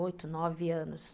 Oito, nove anos.